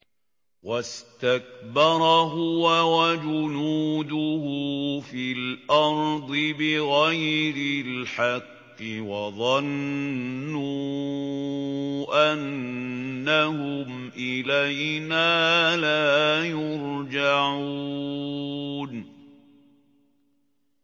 وَاسْتَكْبَرَ هُوَ وَجُنُودُهُ فِي الْأَرْضِ بِغَيْرِ الْحَقِّ وَظَنُّوا أَنَّهُمْ إِلَيْنَا لَا يُرْجَعُونَ